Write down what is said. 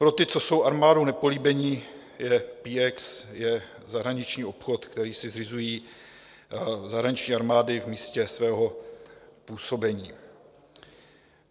Pro ty, co jsou armádou nepolíbeni, PX je zahraniční obchod, který si zřizují zahraniční armády v místě svého působení.